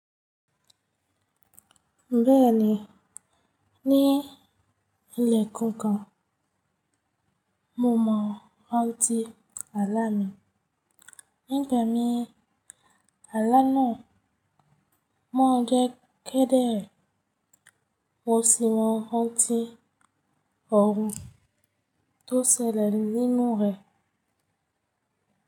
Bẹ́ẹ̀ni, ní ẹẹkankan mo mọ rantí àlá mi. Nígbà mí àlá náà maa n jẹ́ kẹ́dere, mọ sì mọ rantí ọhùn tó ṣẹlẹ̀ nínú rẹ̀.